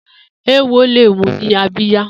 Éwó lé mù ni àbiyá